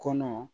Kɔnɔ